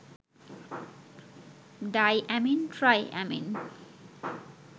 diamine, triamine